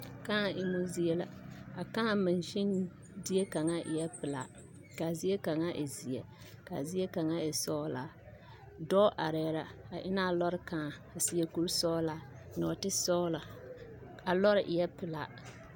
Kãã emmo zie la a kãã mansin zie kaŋa eɛ pelaa k,a zie kaŋa e zeɛ k,a zie kaŋa e sɔglaa dɔɔ arɛɛ la a eŋnɛ a lɔre kãã a seɛ kurisɔglaa nɔɔtesɔgla a lɔre eɛ pelaa.